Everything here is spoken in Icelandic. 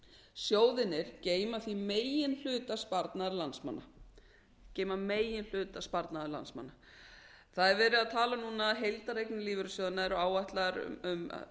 sjóðirnir geyma því meginhluta sparnaðar landsmanna það er verið að tala um núna að heildareignir lífeyrissjóðanna séu áætlaðar um